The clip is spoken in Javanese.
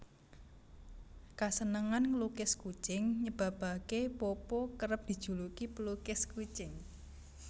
Kasenengan nglukis kucing nyebabaké Popo kerep dijuluki pelukis kucing